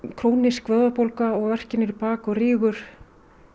króníska vöðvabólgu og verki niður í bak og rígur